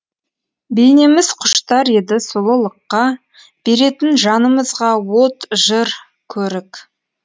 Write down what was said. бейнеміз құштар еді сұлулыққа беретін жанымызға от жыр көрік